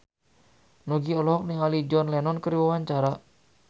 Nugie olohok ningali John Lennon keur diwawancara